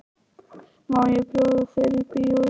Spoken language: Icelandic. Má ég bjóða þér í bíó í kvöld?